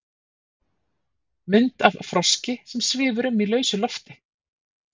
Mynd af froski sem svífur um í lausu lofti.